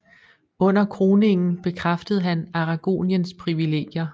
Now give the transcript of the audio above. Under kroningen bekræftede han Aragoniens privilegier